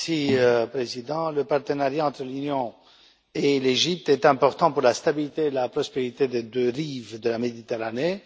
Monsieur le Président, le partenariat entre l'Union et l'Égypte est important pour la stabilité et la prospérité des deux rives de la Méditerranée.